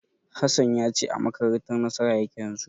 Hassan ya ce a makarantar Nasara yake yanzu.